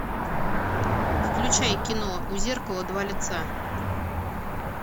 включай кино у зеркала два лица